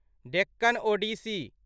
Deccan Odissi